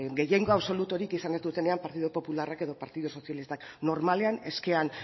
gehiengo absoluturik izan ez dutenean partidu popularrak edo partidu sozialistak normalean eskean